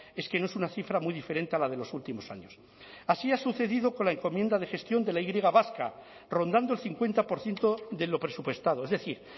es que no es una cifra muy diferente a la de los últimos años así ha sucedido con la encomienda de gestión de la y griega vasca rondando el cincuenta por ciento de lo presupuestado es decir